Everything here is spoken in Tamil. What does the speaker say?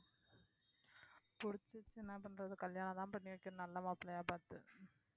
என்ன பண்றது கல்யாணம்தான் பண்ணி வைக்கணும் நல்ல மாப்பிள்ளையா பார்த்து